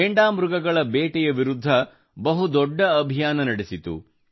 ಘೇಂಡಾಮೃಗಗಳ ಬೇಟೆಯ ವಿರುದ್ಧ ಬಹು ದೊಡ್ಡ ಅಭಿಯಾನ ನಡೆಸಿತು